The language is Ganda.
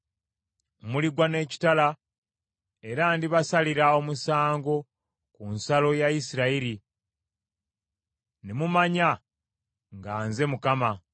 Muligwa n’ekitala, era ndibasalira omusango ku nsalo ya Isirayiri, ne mumanya nga nze Mukama .